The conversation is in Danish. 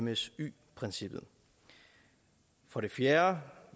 msy princippet for det fjerde